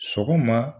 Sɔgɔma